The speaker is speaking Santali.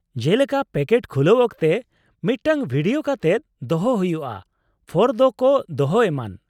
ᱡᱮᱞᱮᱠᱟ ᱯᱮᱠᱮᱴ ᱠᱷᱩᱞᱟᱹᱣ ᱚᱠᱛᱮ ᱢᱤᱫᱴᱟᱝ ᱵᱷᱤᱰᱤᱭᱳ ᱠᱟᱛᱮᱫ ᱫᱚᱦᱚᱭ ᱦᱩᱭᱩᱜᱼᱟ, ᱯᱷᱚᱨᱫᱚ ᱠᱚ ᱫᱚᱦᱚ ᱮᱢᱟᱱ ᱾